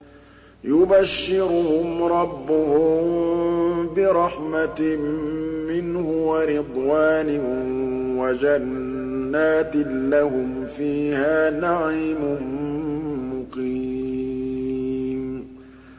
يُبَشِّرُهُمْ رَبُّهُم بِرَحْمَةٍ مِّنْهُ وَرِضْوَانٍ وَجَنَّاتٍ لَّهُمْ فِيهَا نَعِيمٌ مُّقِيمٌ